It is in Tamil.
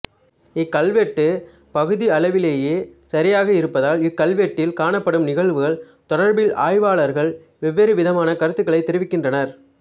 இக் கல்வெட்டு பகுதியளவிலேயே சரியாக இருப்பதால் இக் கல்வெட்டில் காணப்படும் நிகழ்வுகள் தொடர்பில் ஆய்வாளர்கள் வெவ்வேறு விதமான கருத்துக்களைத் தெரிவிக்கின்றனர்